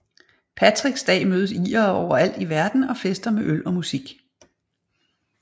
Patricks dag mødes irere overalt i verden og fester med øl og musik